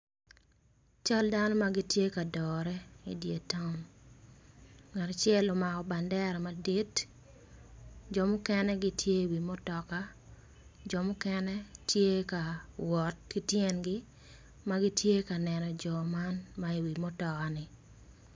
Cal dano matye ka dore idyer ton ngat acel omako bandera madit jo mukene gitye i wi mutoka jo mukene tye ka wot kityengi magitye ka neno jo man ma i wi mutoka ni.